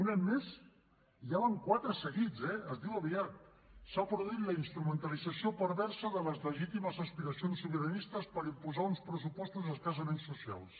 un any més i ja en van quatre seguits eh es diu aviat s’ha produït la instrumentalització perversa de les legítimes aspiracions sobiranistes per imposar uns pressupostos escassament socials